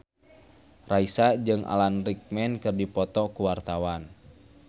Raisa jeung Alan Rickman keur dipoto ku wartawan